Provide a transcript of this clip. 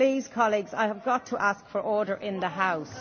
Please, colleagues, I have got to ask for order in the